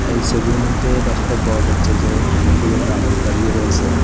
এই সবির মইধ্যে দেখতে পাওয়া যাচ্ছে যে অনেকগুলো মানুষ দাঁড়িয়ে রয়েসে।